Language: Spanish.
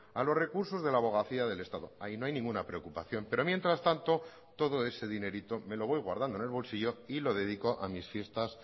a los recursos de la abogacía del estado ahí no hay ninguna preocupación pero mientras tanto todo ese dinerito me lo voy guardando en el bolsillo y lo dedico a mis fiestas